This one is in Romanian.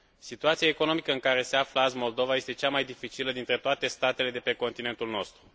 Situația economică în care se află azi Moldova este cea mai dificilă dintre toate statele de pe continentul nostru.